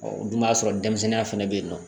don b'a sɔrɔ denmisɛnninya fana bɛ yen nɔ